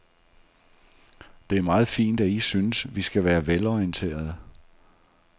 Det er meget fint, at I synes, vi skal være velorienterede.